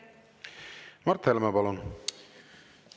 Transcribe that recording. Mart Helme, palun!